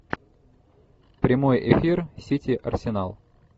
прямой эфир сити арсенал